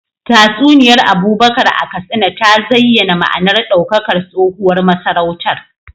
Tatsuniyar Abubakar a Katsina ta zayyana ma’anar daukakar tsohuwar masarautar.